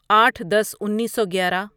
آٹھ دس انیسو گیارہ